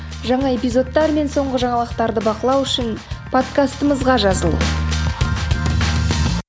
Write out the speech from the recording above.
жаңа эпизодтар мен соңғы жаңалықтарды бақылау үшін подкастымызға жазыл